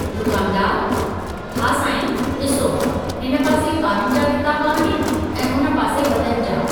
दुकानदारुः हा सांईं, ॾिसो, हिन पासे ॿारनि जा किताब आहिनि ऐं हुन पासे वॾनि जा।